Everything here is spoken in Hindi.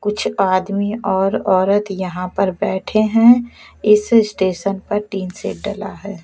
कुछ आदमी और औरत यहां पर बैठे हैं इस स्टेशन पर टीन सेट डला है।